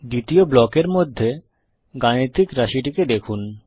দ্বিতীয় ব্লকের মধ্যে গাণিতিক রাশিটিকে দেখুন